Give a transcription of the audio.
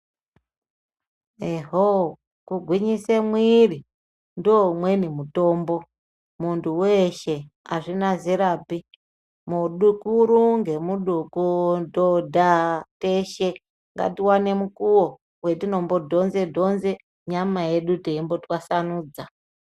Ehoo kugwinyise mwiri ndoumweni mutombo munthu weshe azvina zerapi mudukuru ngemudoko dhodha teshe ngatiwane mukuwo wetinombodhoze dhonze nyama yedu teimbotwasanudza.